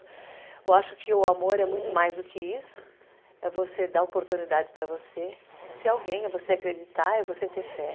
Eu acho que o amor é muito mais do que isso, é você dar oportunidade para você de ser alguém, é você acreditar, é você ter fé.